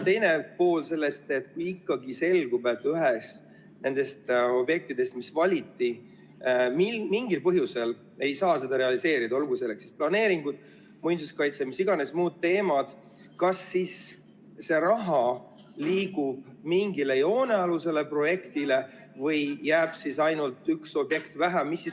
Teine pool sellest küsimusest: kui ikkagi selgub, et ühte nendest objektidest, mis valiti, mingil põhjusel ei saa realiseerida, olgu selleks põhjuseks siis planeeringud, muinsuskaitse või mis iganes muud teemad, kas siis see raha liigub mingile joonealusele projektile või on üks objekt vähem?